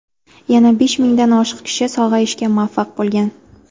Yana besh mingdan oshiq kishi sog‘ayishga muvaffaq bo‘lgan.